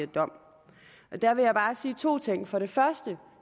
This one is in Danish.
dom og der vil jeg bare sige to ting for det første